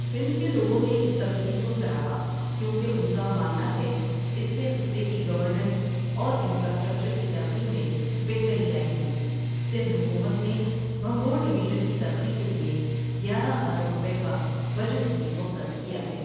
سندھ کے لوگوں نے اس تبدیلی کو سراہا کیونکہ ان کا ماننا ہے اس سے خطے کی گورننس اور انفرا اسٹرکچر کی ترقی میں بہتری آئے گی سندھ حکومت نے بھنبھور ڈویژن کی ترقی کے لیے گیارہ ارب روپے کا بجٹ بھی مختص کیا ہے.